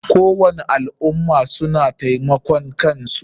Kowani al ummah suna taimakan kansu.